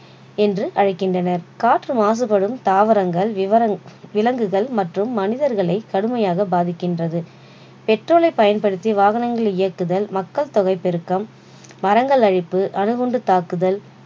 என்று அழைகின்றனர். காற்று மாசுப்படும் தாவரங்கள் விவரங்க்~ விலங்குகள் மற்றும் மனிதர்களை கடுமையாக பாதிக்கின்றது petrol லை பயன்படுத்தி வாகனங்களை இயக்குதல் மக்கள் தொகை பெருக்கம் மரங்கள் அழிப்பு அணுகுண்டு தாக்குதல்